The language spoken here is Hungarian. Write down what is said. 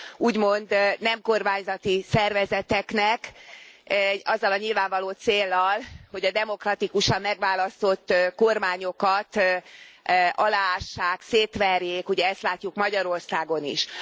úgymond nem kormányzati szervezeteknek azzal a nyilvánvaló céllal, hogy a demokratikusan megválasztott kormányokat aláássák, szétverjék, ugye ezt látjuk Magyarországon is.